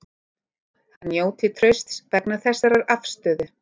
Hann njóti trausts vegna þessarar afstöðu